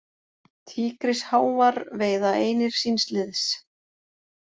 Tígrisháfar veiða einir síns liðs.